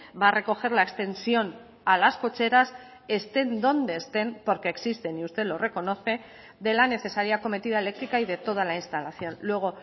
va a recoger la extensión a las cocheras estén donde estén porque existen y usted lo reconoce de la necesaria acometida eléctrica y de toda la instalación luego